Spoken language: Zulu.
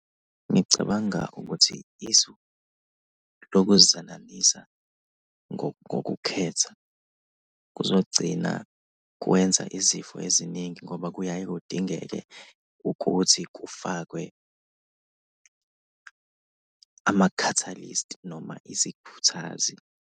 Ngicabanga ukuthi isu lokuzalanisa ngokukhetha kuzogcina kwenza izifo eziningi ngoba kuyaye kudingeke ukuthi kufakwe ama-catalysts noma isikhuthazi.